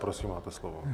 Prosím, máte slovo.